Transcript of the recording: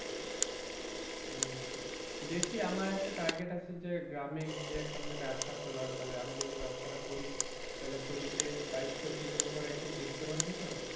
উম দেখি আমার একটা target আছে যে গ্রামে গিয়ে একটা মানে ব্যবসা খোলার তাহলে আমি যদি ব্যবসাটা খুলি তাহলে তোদেরকে দায়িত্ব দিয়ে দেব তোরা একটু দেখতে পারবি তো?